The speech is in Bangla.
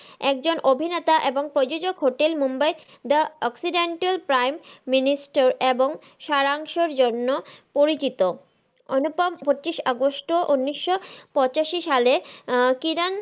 একজন অভিনেতা এবং প্রজজোক hotel mumbai the oxidental prime minister এবং সারাংসর জন্য পরিচিত অনুপম পঁচিশ আগস্ট ও উনিশশো পঁচাশি সালে আহ কিরান,